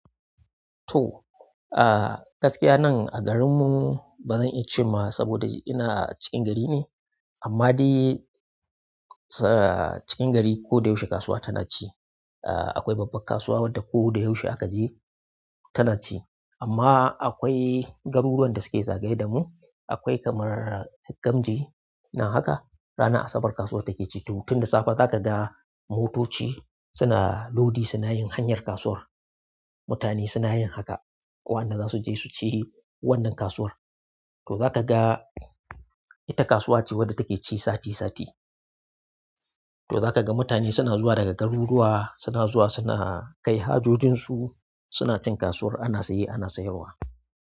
To, ah gaskiya nan a garin mu ba zan iya cewa saboda ina cikin gari ne, amma dai sa-- cikin gari ko da yaushe kasuwa tana ci. Ah akwai babbar kasuwa wadda ko da yaushe aka je tana ci. Amma akwai garuruwan da suke zagaye da mu, akwai kamar Gamji nan haka, rana asabar kasuwar take ci. Tun da safe za ka ga motoci suna lodi, suna yin hanyar kasuwar. Mutane suna yin haka, waɗanda za su je su ci wannan kasuwar. To za ka ga ita kasuwa ce wadda take ci sati sati. To za ka ga mutane suna zuwa daga garuruwa, suna zuwa suna kai hajojin su, suna cin kasuwar, ana saye ana sayarwa.